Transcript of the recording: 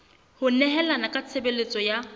ho nehelana ka tshebeletso ya